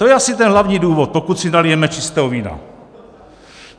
To je asi ten hlavní důvod, pokud si nalijeme čistého vína.